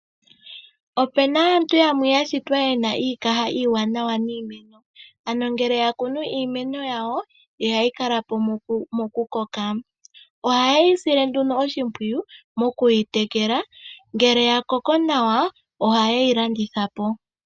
Opena aantu yamwe yashitwa yena iikaha iwanawa niimeno. Ano ngele ya kunu iimeno yawo ihayi kala po moku koka. Ohaayi sile nduno oshimpwiyu moku yi tekela. Ngele ya koko nawa ohaayi landitha po.